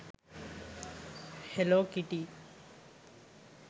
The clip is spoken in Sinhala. hello kitty